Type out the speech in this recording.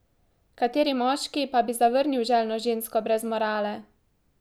Kateri moški pa bi zavrnil željno žensko brez morale?